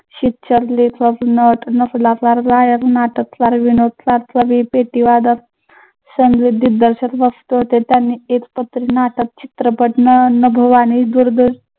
शिक्षक, लेखक, नट, गायक, नाटककार, विनोदकार संगीत दिग्दर्शक मस्त होते त्यांनी एकपात्री नाटक, चित्रपट